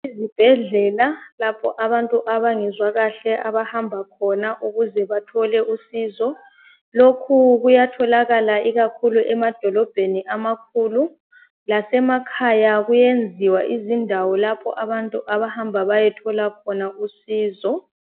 Izibhedlela lapha abantu abahamba khona ukuytshwa, Lokhu kuyatholakala loba emadolobheni, lokhu kuyenziwa lapho abantu abahamba khona ukuyathola khona usizo.